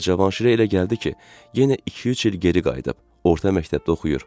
Və Cavanşirə elə gəldi ki, yenə iki-üç il geri qayıdıb orta məktəbdə oxuyur.